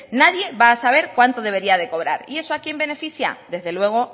nadie va a saber cuánto debería de cobrar y eso a quién beneficia desde luego